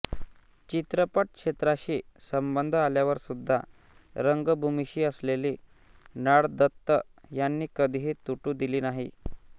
चित्रपट क्षेत्राशी संबंध आल्यावर सुद्धा रंगभूमीशी असलेली नाळ दत्त यांनी कधीही तुटू दिली नाही